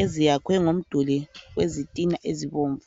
eziyakhwe ngomduli wezitina ezibomvu.